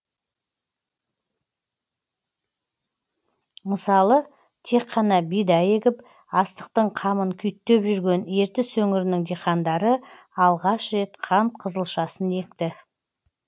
мысалы тек қана бидай егіп астықтың қамын күйттеп жүрген ертіс өңірінің диқандары алғаш рет қант қызылшасын екті